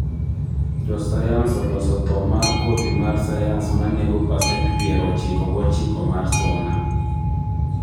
Josayance oloso tho mar kodhi mar sayance ma nego parcent piero ochiko go ochiko mar suna